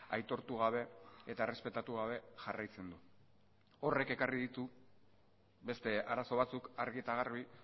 aitortu gabe eta errespetatu gabe jarraitzen du horrek ekarri ditu beste arazo batzuk argi eta garbi